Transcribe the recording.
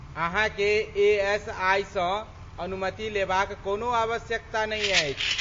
अहाँके ए.एस.आइ.सँ अनुमति लेबाक कोनो आवश्यकता नै अछि।